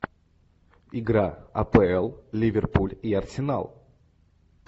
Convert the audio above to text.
игра апл ливерпуль и арсенал